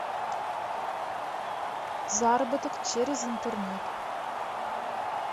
заработок через интернет